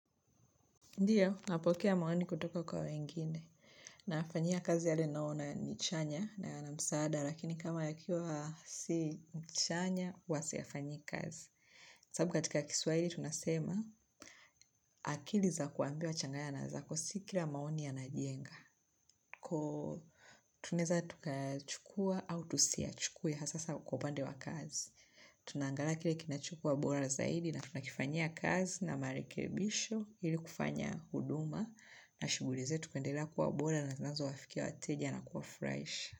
Ndiyo, napokea maoni kutoka kwa wengine, nafanyia kazi yale naona ni chanya, na yana msaada, lakini kama yakiwa si chanya, huwa siyafanyii kazi. Sababu katika kiswahili, tunasema, akili za kuambiwa changanya na zako si kila maoni yanajenga. Tunaweza tukachukua au tusiyachukue, hasa sana kwa upande wa kazi. Tunaangala kile kinachukua bora zaidi na tunakifanya kazi na marekebisho ili kufanya huduma na shughuli zetu kuendelea kuwa bora na zinazo wafikia wateja na kuwafurahisha.